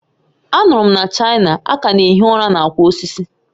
A nụrụ m na China, a ka na-ehi ụra na akwa osisi